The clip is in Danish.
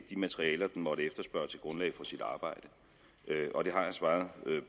de materialer den måtte efterspørge til grundlag for sit arbejde og det har jeg svaret